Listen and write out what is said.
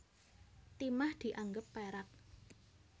Timah dianggep perak